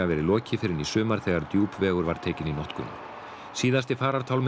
lokið fyrr en í sumar þegar Djúpvegur var tekinn í notkun síðasti farartálminn